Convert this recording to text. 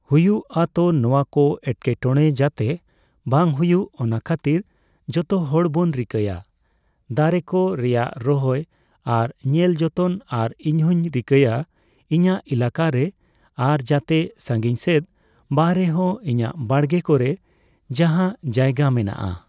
ᱦᱩᱭᱩᱜᱼᱟ ᱛᱚ ᱱᱚᱣᱟᱠᱚ ᱮᱴᱠᱮᱴᱚᱲᱮ ᱡᱟᱛᱮ ᱵᱟᱝ ᱦᱩᱭᱩᱜ ᱚᱱᱟ ᱠᱷᱟᱹᱛᱤᱨ ᱡᱚᱛᱚ ᱦᱚᱲᱵᱚᱱ ᱨᱤᱠᱟᱹᱭᱟ ᱫᱟᱨᱮ ᱠᱚ ᱨᱮᱭᱟᱜ ᱨᱚᱦᱚᱭ ᱟᱨ ᱧᱮᱞ ᱡᱚᱛᱚᱱ ᱟᱨ ᱤᱧᱦᱚᱧ ᱨᱤᱠᱟᱹᱭᱟ ᱤᱧᱟᱹᱜ ᱮᱞᱟᱠᱟᱨᱮ ᱟᱨ ᱡᱟᱛᱮ ᱥᱟᱺᱜᱤᱧ ᱥᱮᱫ ᱵᱟᱝᱨᱮᱦᱚᱸ ᱤᱧᱟᱹᱜ ᱵᱟᱲᱜᱮ ᱠᱚᱨᱮ ᱡᱟᱦᱟᱸ ᱡᱟᱭᱜᱟ ᱢᱮᱱᱟᱜᱼᱟ ᱾